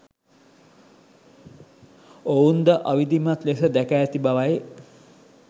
ඔවුන් ද අවිධිමත් ලෙස දැක ඇති බවයි